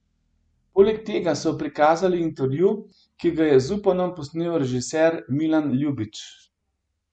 Poleg tega so prikazali intervju, ki ga je z Zupanom posnel režiser Milan Ljubić.